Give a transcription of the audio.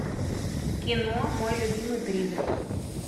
кино мой любимый призрак